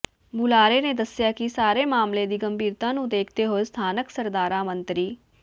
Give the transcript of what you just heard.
ਬੁਲਾਰੇ ਨੇ ਦੱਸਿਆ ਕਿ ਸਾਰੇ ਮਾਮਲੇ ਦੀ ਗੰਭੀਰਤਾ ਨੂੰ ਦੇਖਦੇ ਹੋਏ ਸਥਾਨਕ ਸਰਕਾਰਾਂ ਮੰਤਰੀ ਸ